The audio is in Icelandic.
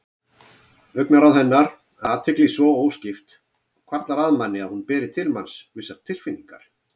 Augnaráð hennar, athygli svo óskipt, hvarflar að manni að hún beri til manns vissar tilfinningar.